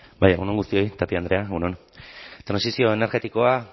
egun on guztioi tapia andrea egun on trantsizio energetikoa